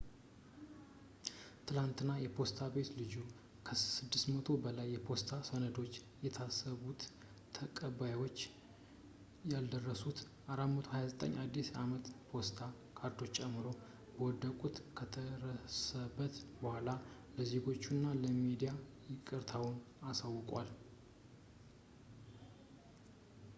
ትላንትና ፖስታ ቤቱ ልጁ ከ600 በላይ የፖስታ ሰነዶችን ለታሰቡት ተቀባዮች ያልደረሱ 429 የአዲስ አመት ፖስት ካርዶችን ጨምሮ መደበቁን ከደረሰበት ቡኃላ ለዜጎቹ እና ለሚዲያ ይቅርታውን አሳውቋል